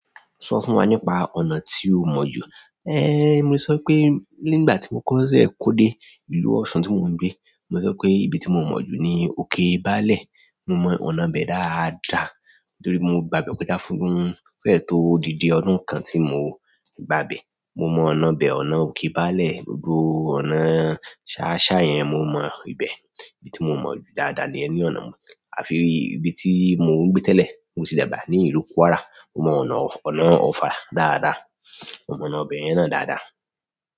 Sọ fún wa nípa ọ̀nà tí o mọ̀ jù. Mo sọ pé nígbà tí mo kọ́ko ṣẹ́ kó dé ìlú Ọ̀ṣun tí mò ń gbé, mo sọ pé ibi tí mo mọ̀ jù ni òkè Baálẹ̀. Mo mọ ọ̀nà bẹ dáadáa torí mo gbá ibe kọ́já fún o fẹ́ẹ̀ tó odídi ọdún kan tí mò ń gbá ibẹ̀. Mo mọ ọ̀nà ibẹ̀ ọ̀nà òkè Baálẹ̀, gbogbo ọ̀nà sááṣá yẹn mo mọ ibẹ̀. Ibi tí mo mọ̀ jù dáadáa niyen ni ọ̀nà àfí ibi tí mò ń gbé n tẹ́lẹ̀, mo ti dàgbà ní ìlú Kwárà. Mo mọ ọ̀nà, ọ̀nà ọfà dáadáa, mo mọ ọ̀nà ibe yen náà dáadáa.